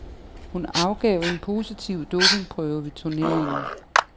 Hun afgav en positiv dopingprøve ved turneringen.